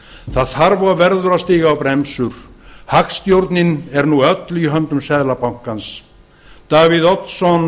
það þarf og verður að stíga á bremsur hagstjórnin er nú öll í höndum seðlabankans davíð oddsson